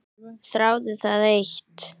Þráði það eitt.